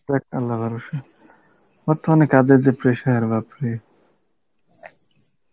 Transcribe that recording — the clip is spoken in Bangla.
আমার তো অনেক কাজের যে pressure বাপরে